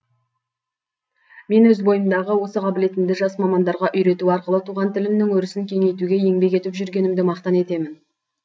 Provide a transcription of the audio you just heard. мен өз бойымдағы осы қабілетімді жас мамандарға үйрету арқылы туған тілімнің өрісін кеңейтуге еңбек етіп жүргенімді мақтан етемін